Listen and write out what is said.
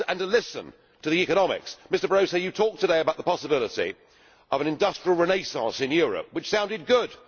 Listen to the economics. Mr Barroso, you talked today about the possibility of an industrial renaissance in Europe, which sounded good.